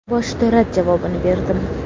Boshida rad javobini berdim.